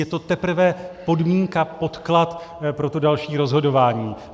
Je to teprve podmínka, podklad pro to další rozhodování.